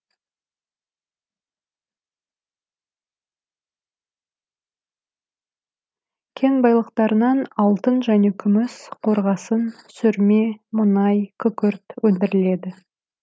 кен байлықтарынан алтын және күміс қорғасын сүрме мұнай күкірт өндіріледі